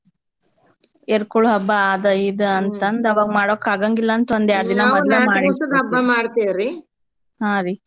ಎರ್ಕೊಳೋ ಹಬ್ಬ ಆದ ಈದ ಅಂತಂದ್ ಅವಾಗ್ ಮಾಡಕಾಗಂಗಿಲ್ಲನ್ತಂದ್ ಹಾ ರೀ.